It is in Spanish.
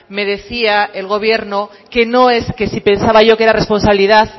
me decía que no es que si pensaba yo que era responsabilidad